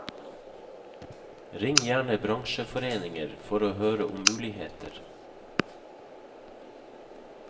Ring gjerne bransjeforeninger for å høre om muligheter.